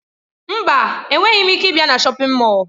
Mba, enweghị m ike ịbịa na shọpin Mọll.